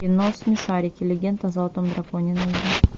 кино смешарики легенда о золотом драконе найди